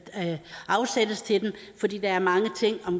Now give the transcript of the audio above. afsættes til det fordi der er mange ting